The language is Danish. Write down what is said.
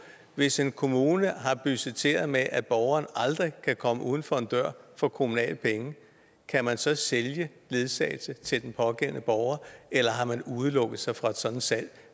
hvis en kommune har budgetteret med at borgeren aldrig kan komme uden for en dør for kommunale penge kan man så sælge ledsagelse til den pågældende borger eller har man udelukket sig fra et sådant salg